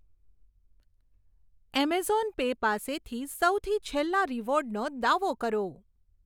Amazon pay પાસેથી સૌથી છેલ્લા રીવોર્ડનો દાવો કરો.